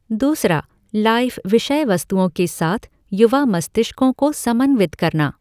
दूसरा, लाइफ़ विषयवस्तुओं के साथ युवा मस्तिष्कों को समन्वित करना